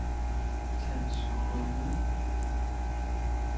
Tandsryde